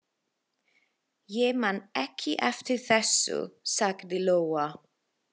Ég man ekki eftir þessu, sagði Lóa.